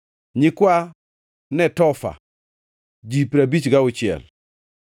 nyikwa Netofa, ji piero abich gauchiel (56),